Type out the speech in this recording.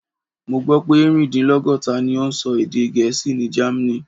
Mo gbó pé erin-din-logota ni ó ń sọ èdè Gẹ̀ẹ́sì ní Germany.